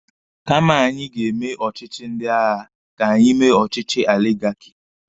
Kama anyị ga-eme ọchịchị ndị agha, ka anyị mee ọchịchị aligaki.